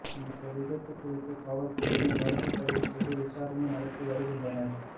இந்த விபத்து குறித்து காவல்துறையினர் வழக்குப்பதிவு செய்து விசாரணை நடத்தி வருகின்றனர்